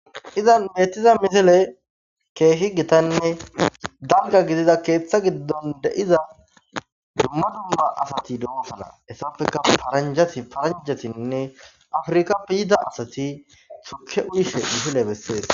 Izan beetiza misile keehi gitanne danga gidiza keeththa giddon deiza dumma dua asati dehosana hessafeka faranjati faranjasinne afirika piyida asati tuke uyishe dihile bessees.